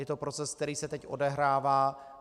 Je to proces, který se teď odehrává.